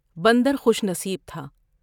بندر خوش نصیب تھا ۔